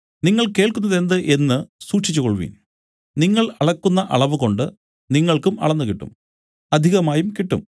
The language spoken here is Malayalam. നിങ്ങൾ കേൾക്കുന്നതെന്ത് എന്നു സൂക്ഷിച്ച് കൊൾവിൻ നിങ്ങൾ അളക്കുന്ന അളവുകൊണ്ട് നിങ്ങൾക്കും അളന്നുകിട്ടും അധികമായും കിട്ടും